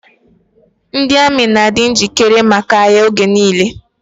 Ndị amị na-adi njikere maka agha oge nile.